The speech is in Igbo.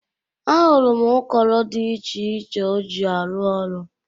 Ahụrụ m ụkọro dị ich iche o ji arụ ọrụ.